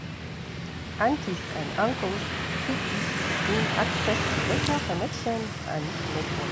aunties and uncles fit give pikin access to better connection and network